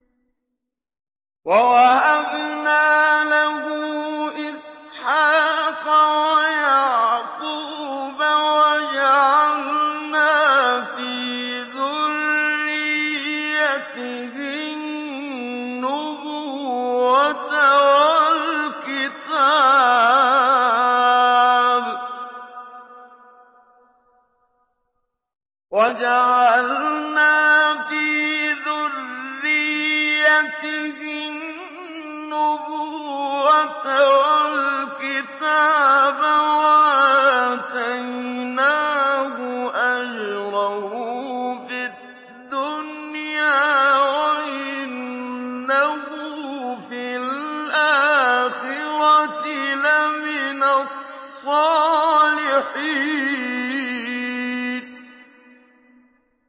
وَوَهَبْنَا لَهُ إِسْحَاقَ وَيَعْقُوبَ وَجَعَلْنَا فِي ذُرِّيَّتِهِ النُّبُوَّةَ وَالْكِتَابَ وَآتَيْنَاهُ أَجْرَهُ فِي الدُّنْيَا ۖ وَإِنَّهُ فِي الْآخِرَةِ لَمِنَ الصَّالِحِينَ